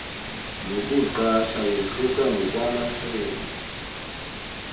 nokuqasha yahluka ngokwamasebe